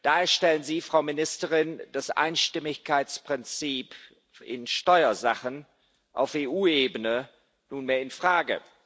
Da stellen Sie, Frau Ministerin, das Einstimmigkeitsprinzip in Steuersachen auf EU Ebene nunmehr in Frage.